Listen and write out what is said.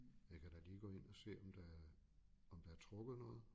Jeg kan da lige gå ind og se om der er om der er trukket noget